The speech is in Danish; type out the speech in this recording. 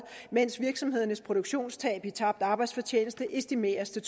mens virksomhedernes produktionstab i tabt arbejdsfortjeneste estimeres til